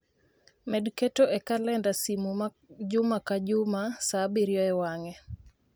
Med keto e kalenda simu ma juma ka juma saa abirio e wang'e.